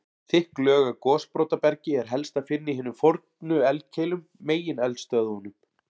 Þykk lög af gosbrotabergi er helst að finna í hinum fornu eldkeilum, megineldstöðvunum.